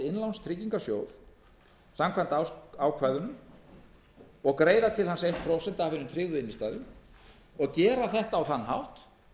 innlánstryggingarsjóð samkvæmt ákvæðunum og greiða til hans eitt prósent af hinum tryggðu innstæðum og gera þetta á þann hátt